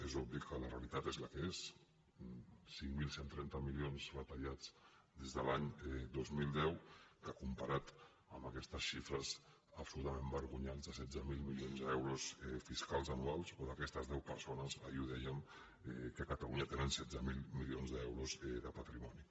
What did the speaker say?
és obvi que la realitat és la que és cinc mil cent i trenta milions retallats des de l’any dos mil deu que com·parat amb aquestes xifres absolutament vergonyants de setze mil milions d’euros fiscals anuals o d’aques·tes deu persones ahir ho dèiem que a catalunya te·nen setze mil milions d’euros de patrimoni